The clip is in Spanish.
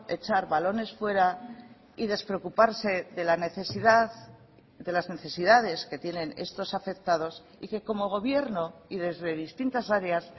echar balones fuera y despreocuparse de la necesidad de las necesidades que tienen estos afectados y que como gobierno y desde distintas áreas